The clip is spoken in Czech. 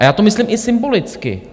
A já to myslím i symbolicky.